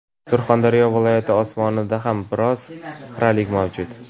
Surxondaryo viloyati osmonida ham biroz xiralik mavjud.